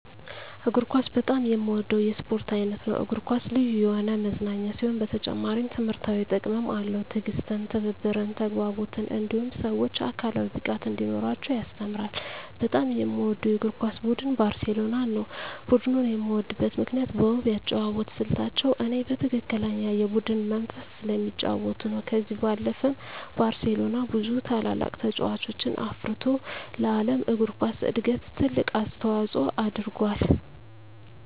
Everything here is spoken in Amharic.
እግር ኳስ በጣም የምወደው የስፖርት አይነት ነው። እግር ኳስ ልዩ የሆነ መዝናኛ ሲሆን በተጨማሪም ትምህርታዊ ጥቅምም አለው። ትዕግስትን፣ ትብብርን፣ ተግባቦትን እንዲሁም ሰወች አካላዊ ብቃት እንዲኖራቸው ያስተምራል። በጣም የምወደው የእግር ኳስ ቡድን ባርሴሎናን ነው። ቡድኑን የምወድበት ምክንያት በውብ የአጨዋወት ስልታቸው እኔ በትክክለኛ የቡድን መንፈስ ስለሚጫወቱ ነው። ከዚህ ባለፈም ባርሴሎና ብዙ ታላላቅ ተጫዋቾችን አፍርቶ ለዓለም እግር ኳስ እድገት ትልቅ አስተዋፅኦ አድርጎአል።